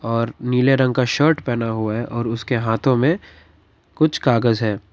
और नीले रंग का शर्ट पहना हुआ है और उसके हाथों में कुछ कागज है।